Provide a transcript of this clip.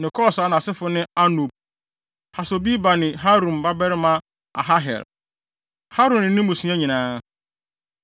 ne Kos a nʼasefo ne Anub, Hasobeba ne Harum babarima Aharhel, Harum ne ne mmusua nyinaa.